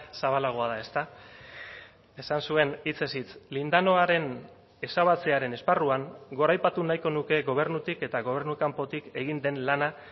zabalagoa da ezta esan zuen hitzez hitz lindanoaren ezabatzearen esparruan goraipatu nahiko nuke gobernutik eta gobernu kanpotik egin den lana